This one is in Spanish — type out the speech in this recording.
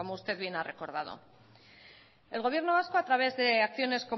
usted bien ha recordado el gobierno vasco a través de acciones